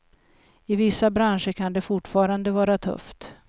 I vissa branscher kan det fortfarande vara tufft.